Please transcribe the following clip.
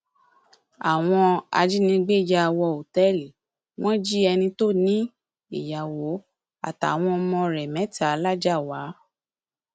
àwọn ajínigbé ya wọ òtẹẹlì wọn jí ẹni tó ní in ìyàwó àtàwọn ọmọ rẹ mẹta làjáàwá